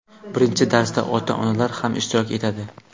Birinchi darsda ota-onalar ham ishtirok etadi.